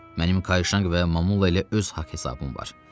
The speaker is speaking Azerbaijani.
Mənim Kaişanq və Mamulla ilə öz haqq-hesabım var.